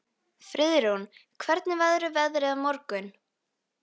Friðrún, hvernig verður veðrið á morgun?